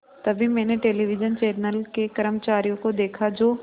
तभी मैंने television channel के कर्मचारियों को देखा जो